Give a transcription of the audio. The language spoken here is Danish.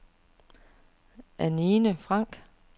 Anine Franck